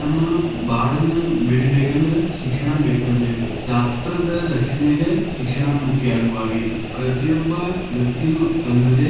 ನಮ್ಮ ಬಾಳನ್ನ ಬೆಳಿಬೇಕಂದ್ರ ಶಿಕ್ಷಣ ಬೇಕ ಬೇಕ, ರಾಷ್ಟ್ರದ ರಕ್ಷಣೆಗ ಶಿಕ್ಷಣ ಮುಖ್ಯ ಆಗವಾಗೈತಿ. ಪ್ರತಿಯೊಬ್ಬ ವ್ಯಕ್ತಿನೂ ತನ್ನದೇ